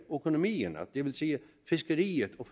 økonomien og det vil sige fiskeriet og